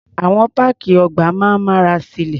Àwọn páàkì ọgbà máa ń mára silé.